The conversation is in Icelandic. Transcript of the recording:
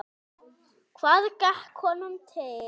Hvað gekk honum til?